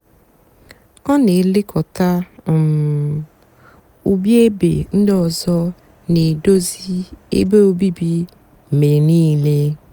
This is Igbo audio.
ọ nà-èlekọta um úbí ébé ndị ọzọ nà-èdozi ébé obíbí mgbe nííle.